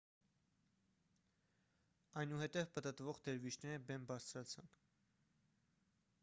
այնուհետև պտտվող դերվիշները բեմ բարձրացան